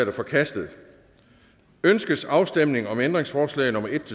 er forkastet ønskes afstemning om ændringsforslag nummer en